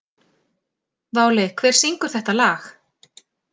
Váli, hver syngur þetta lag?